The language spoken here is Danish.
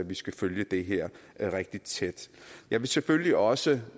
vi skal følge det her rigtig tæt jeg vil selvfølgelig også